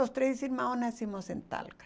Os três irmãos nascemos em Talca.